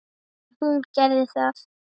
En hún gerði það.